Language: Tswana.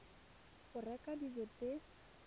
go reka dijo tse di